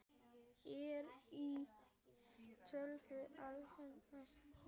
Er í tafli öflug næsta.